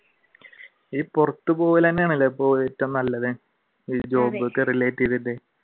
ഈ പുറത്തുപോകൽ തന്നെയാണല്ലേ ഏറ്റവും നല്ലത് job ഒക്കെ relate ചെയ്തിട്ട്